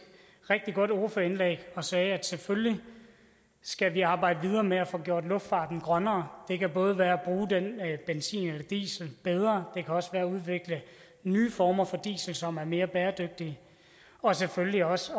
rigtig godt ordførerindlæg og sagde at selvfølgelig skal vi arbejde videre med at få gjort luftfarten grønnere det kan både være at bruge den benzin eller diesel bedre det kan også være at udvikle nye former for diesel som er mere bæredygtige og selvfølgelig også